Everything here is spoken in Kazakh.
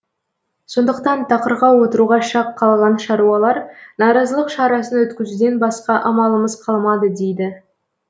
сондықтан тақырға отыруға шақ қалған шаруалар наразылық шарасын өткізуден басқа амалымыз қалмады дейді